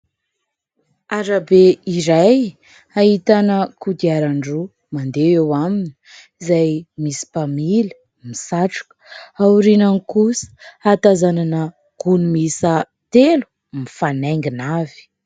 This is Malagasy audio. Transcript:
Arabe iray ahitana kodiaran-droa mandeha eo aminy, izay misy mpamily misatroka ao aorian'ny kosa hatazanana gony miisa telo mifanaingina avy.